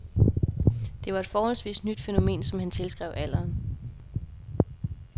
Det var et forholdsvis nyt fænomen, som han tilskrev alderen.